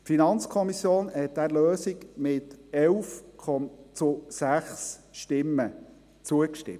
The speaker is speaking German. Die FiKo hat dieser Lösung mit 11 Ja- zu 6 Nein-Stimmen zugestimmt.